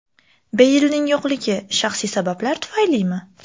Beylning yo‘qligi shaxsiy sabablar tufaylimi?